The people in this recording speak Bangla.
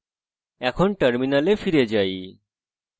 terminal ফিরে যাই